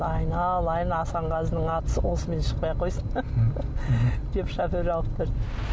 айналайын асанғазының аты осымен шықпай ақ қойсын деп шофер алып берді